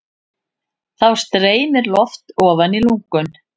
Þá streymir loft ofan í lungun.